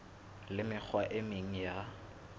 le mekgwa e meng ya